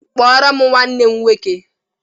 kpọrọ nwanne m nwọke